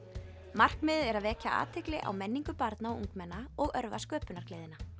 markmiðið er að vekja athygli á menningu barna og ungmenna og örva sköpunargleðina